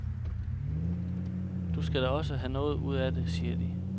Du skal da også have noget ud af det, siger de.